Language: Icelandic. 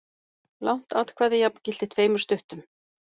Langt atkvæði jafngilti tveimur stuttum.